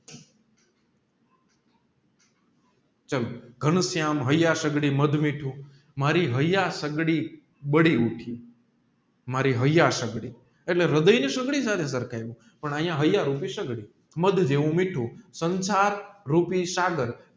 ઘનશ્યામ મારી હાઈએ સગડી બડી ઊઠી મારી હાઈએ સગડી એટલે રાધાયાઃ ની સગડી પણ અહીંયા હાય રૂપી સગડી મધ જેવું મીઠું સંસાર રૂપી